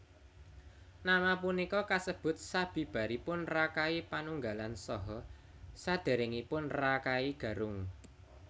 Nama punika kasebut sabibaripun Rakai Panunggalan saha saderengipun Rakai Garung